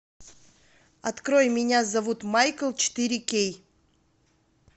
открой меня зовут майкл четыре кей